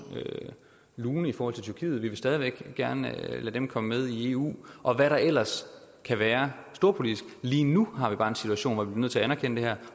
lune i forhold til tyrkiet vi vil stadig væk gerne lade dem komme med i eu og hvad der ellers kan være storpolitisk lige nu har vi bare en situation hvor vi er nødt til at anerkende det her